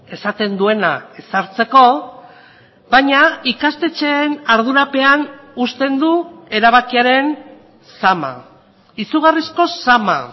esaten duena ezartzeko baina ikastetxeen ardurapean uzten du erabakiaren zama izugarrizko zama